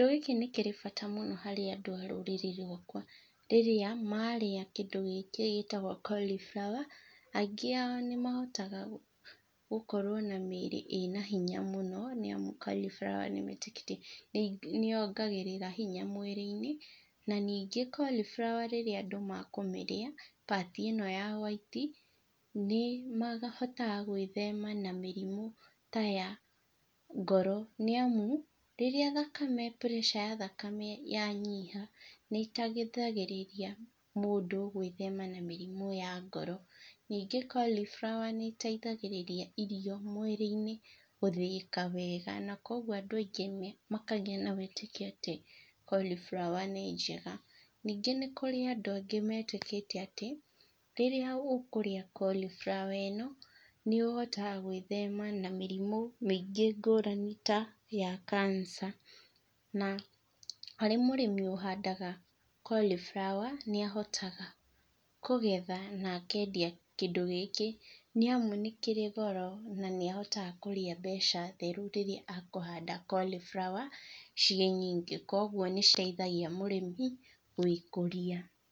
Kĩndũ gĩkĩ nĩ kĩrĩ bata mũno harĩ andũ a rũrĩrĩ rwakwa. Rĩrĩa marĩa kĩndũ gĩkĩ gĩtagwo colly flower, aingĩ ao nĩ mahotaga gũkorwo na mĩrĩ ĩna hinya mũno, nĩ amu colly flower, nĩmetĩkĩtie, nĩ yongagĩrĩra hinya mwĩrĩ-inĩ. Na ningĩ colly flower rĩrĩa andũ makũmĩrĩa part ĩno ya hwaiti, nĩ mahotaga gwĩthema na mĩrimũ ta ya ngoro, nĩ amu rĩrĩa thakame, pressure ya thakame ya nyiha nĩ ĩteithagĩria mũndũ gwĩthema na mĩrimũ ya ngoro. Ningĩ colly flower nĩ ĩteithagĩria irio mwĩrĩ-inĩ gũthĩĩka wega na kwoguo andũ angĩ makagĩa na wĩtĩkia atĩ colly flower nĩ njega. Ningĩ nĩ kũrĩ andũ angĩ metĩkĩtie atĩ rĩrĩa ũkũrĩa colly flower ĩno, nĩ ũhotaga gwĩthema na mĩrimũ mĩingĩ ngũrani ta ya Cancer na harĩ mũrĩmi ũhandaga colly flower nĩ ahotaga kũgetha na akendia kĩndũ gĩkĩ, nĩ amu nĩ kĩrĩ goro na nĩ ahotaga kũrĩa mbeca theru rĩrĩa akũhanda colly flower ciĩ nyingĩ koguo nĩ citeithagia mũrĩmi gwĩ kũria.